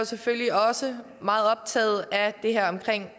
selvfølgelig også meget optaget af det her omkring